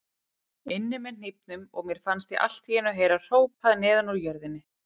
inni með hnífnum og mér fannst ég allt í einu heyra hrópað neðan úr jörðinni.